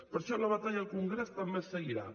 per això la batalla al congrés també seguirà